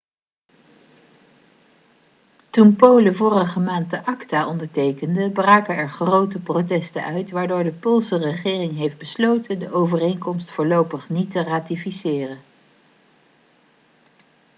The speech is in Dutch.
toen polen vorige maand de acta ondertekende braken er grote protesten uit waardoor de poolse regering heeft besloten de overeenkomst voorlopig niet te ratificeren